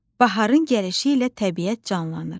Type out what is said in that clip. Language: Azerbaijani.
Baharın gəlişi ilə təbiət canlanır.